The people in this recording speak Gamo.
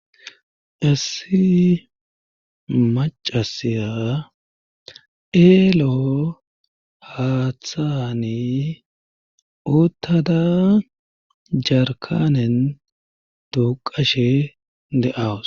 macasiya eelo haaththani uttada jarkanen duuqashe de7awus